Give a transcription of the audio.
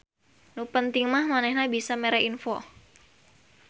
Nu penting mah manehna bisa mere info.